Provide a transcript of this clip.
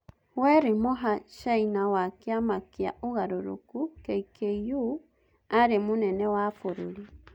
Weri Moha China wa kĩama kĩa ũgarũrũku (KKũ) arĩ-munene wa bũrũri.